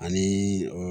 Ani